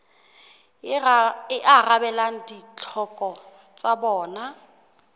e arabelang ditlhoko tsa bona